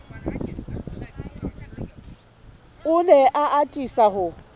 o ne a atisa ho